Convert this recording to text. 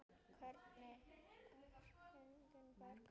Hvernig er Henning Berg?